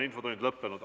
Infotund on lõppenud.